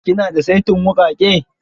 Ki na da saitin wuƙake?